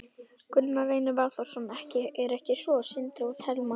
Gunnar Reynir Valþórsson: Er ekki svo, Sindri og Telma?